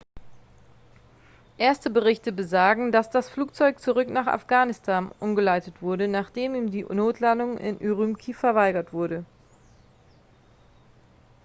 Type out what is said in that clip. erste berichte besagen dass das flugzeug zurück nach afghanistan umgeleitet wurde nachdem ihm die notlandung in ürümqi verweigert wurde